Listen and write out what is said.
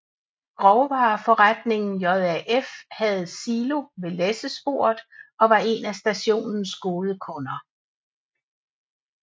Grovvareforretningen JAF havde silo ved læssesporet og var en af stationens gode kunder